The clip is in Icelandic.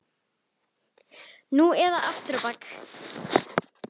Nú eða aftur á bak!